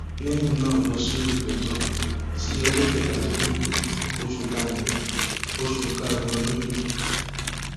lẹyìn náà ló sún ìgbẹjọ sí ọjọ kẹtàdínlógún oṣù karùnún oṣù karùnún ọdún yìí